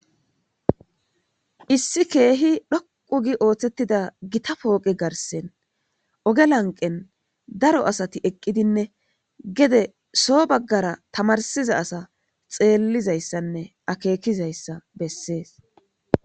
Issi keehi dhoqu gi ooththettida gita pooqe garsen oge lanqen daro asati eqqidinne gede soo baggara tamarsiza asa xeellizayssanne akeekizayssa bessees